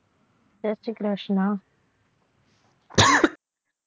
Jay Shri Krishna